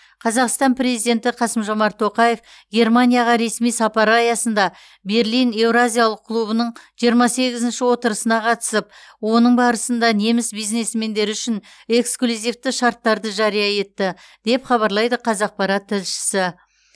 қазақстан президенті қасым жомарт тоқаев германияға ресми сапары аясында берлин еуразиялық клубының жиырма сегізінші отырысына қатысып оның барысында неміс бизнесмендері үшін эксклюзивті шарттарды жария етті деп хабарлайды қазақпарат тілшісі